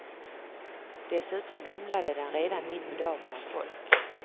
Dessutom vimlade den redan mitt på dagen av folk.